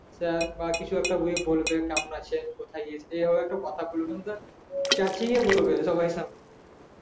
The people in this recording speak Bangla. sir বা কিছু একটা বলবে কেমন আছেন কোথায় গিয়েছেন এভাবে একটু কথা বলবে নয়তো চেচিয়ে বলবে সবার সামনে